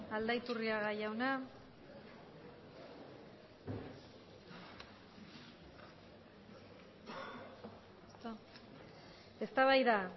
aldaiturriaga jauna eztabaida